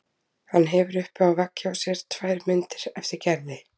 Hann hefur uppi á vegg hjá sér tvær myndir eftir Gerði.